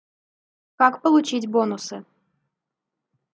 как получить бонусы